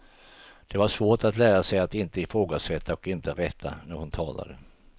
Det var svårt att lära sig att inte ifrågasätta och inte rätta när hon talade.